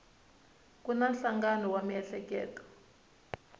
va na nhlangano wa miehleketo